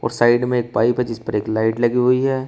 और साइड में एक पाइप है जिस पर एक लाइट लगी हुई है।